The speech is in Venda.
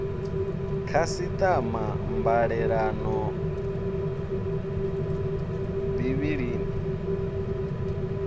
khasiṱama mbalelano bi i i